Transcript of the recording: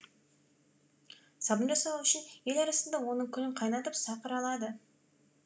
сабын жасау үшін ел арасында оның күлін қайнатып сапыра алады